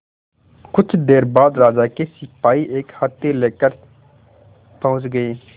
कुछ देर बाद राजा के सिपाही एक हाथी लेकर पहुंच गए